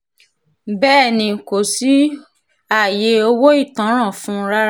bẹ́ẹ̀ ni kò sí ààyè owó ìtanràn fún un rárá